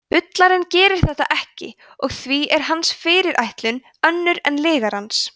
bullarinn gerir þetta ekki og því er hans fyrirætlun önnur en lygarans